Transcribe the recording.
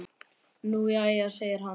Nú jæja segir hann.